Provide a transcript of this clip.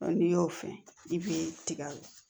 n'i y'o fɛn i b'i tigɛ